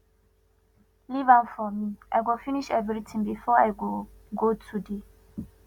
leave am for me i go finish everything before i go go today